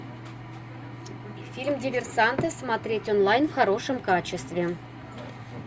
фильм диверсанты смотреть онлайн в хорошем качестве